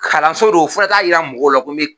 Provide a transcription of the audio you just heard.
Kalanso do fo n k'a taa yira mɔgɔw la ko n bɛ